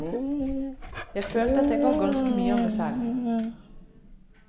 Jeg følte at jeg ga ganske mye av meg selv.